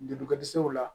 Jolikɔ dɛsɛw la